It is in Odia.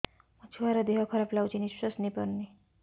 ମୋ ଛୁଆର ଦିହ ଖରାପ ଲାଗୁଚି ନିଃଶ୍ବାସ ନେଇ ପାରୁନି